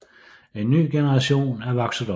En ny generation er vokset op